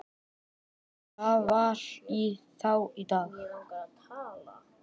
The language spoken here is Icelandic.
Það var í þá daga!